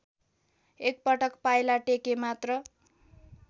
एकपटक पाइला टेकेमात्र